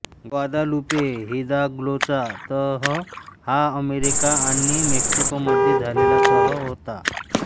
Guadalupe हिदाल्गोचा तह हा अमेरिका आणि मेक्सिको मध्ये झालेला तह होता